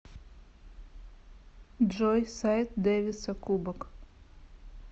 джой сайт дэвиса кубок